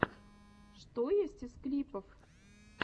что есть из клипов